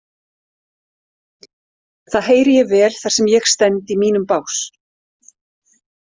Það heyri ég vel þar sem ég stend í mínum bás.